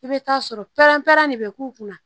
I bɛ taa sɔrɔ pɛrɛn-pɛrɛn de bɛ k'u kunna